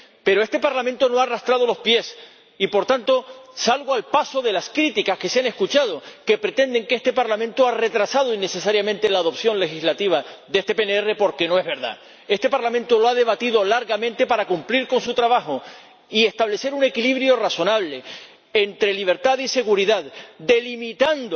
Pero este Parlamento no ha arrastrado los pies y, por tanto, salgo al paso de las críticas que se han escuchado, que pretenden que este Parlamento ha retrasado innecesariamente la aprobación legislativa de este PNR, porque no es verdad. Este Parlamento lo ha debatido largamente para cumplir su trabajo y establecer un equilibrio razonable entre libertad y seguridad, delimitando